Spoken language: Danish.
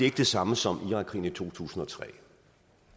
ikke det samme som irakkrigen i to tusind og tre